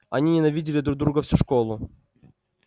они ненавидели друг друга всю школу